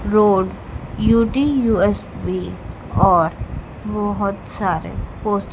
road UT USB और बहोत सारे पोस्ट --